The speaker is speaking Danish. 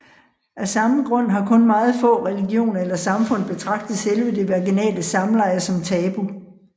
Af samme grund har kun meget få religioner eller samfund betragtet selve det vaginale samleje som tabu